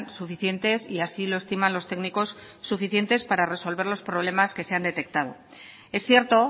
suficientes y así lo estiman los técnicos para resolver los problemas que se han detectado es cierto